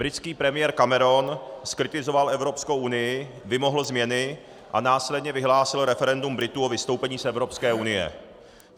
Britský premiér Cameron zkritizoval Evropskou unii, vymohl změny a následně vyhlásil referendum Britů o vystoupení z Evropské unie.